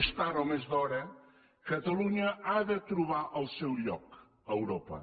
més tard o més d’hora catalunya ha de trobar el seu lloc a europa